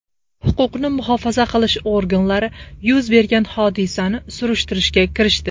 Huquqni muhofaza qilish organlari yuz bergan hodisani surishtirishga kirishdi.